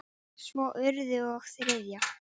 Svo öðru og þriðja.